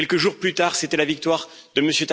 Quelques jours plus tard, c'était la victoire de M.